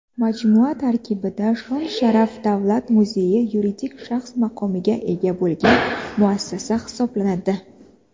Majmua tarkibidagi "Shon-sharaf" davlat muzeyi yuridik shaxs maqomiga ega bo‘lgan muassasa hisoblanadi.